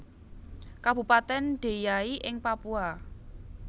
Kabupatèn Deiyai ing Papua